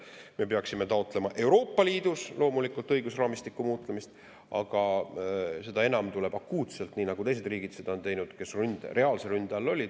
Me peaksime taotlema Euroopa Liidus loomulikult õigusraamistiku muutmist, aga sellest enam tuleb akuutselt, nii nagu on teinud teised riigid, kes reaalse ründe all olid.